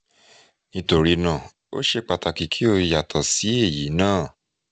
nítorí náà ó ṣeé pàtàkì kí ó yàtọ̀ sí èyí náà